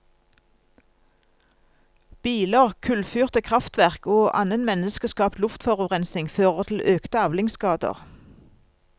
Biler, kullfyrte krafftverk og annen menneskeskapt luftforurensning fører til økte avlingsskader.